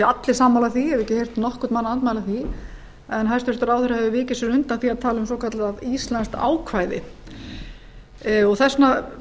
allir sammála því ég hef ekki heyrt nokkurn mann andmæla því en hæstvirtur ráðherra hefur vikið sér undan því að tala um svokallað íslenskt ákvæði þess vegna hef